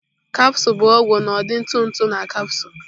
Capsule bụ ọgwụ n'ụdị ntụ ntụ na capsule.